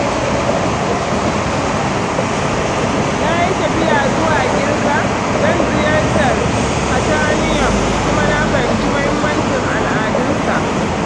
Na yi tafiya zuwa Girka don ziyartar Parthenon kuma na fahimci muhimmancin al'adunsa.